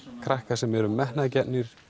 krakka sem eru metnaðargjarnir